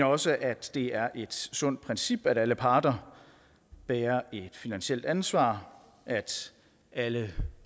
også at det er et sundt princip at alle parter bærer et finansielt ansvar at alle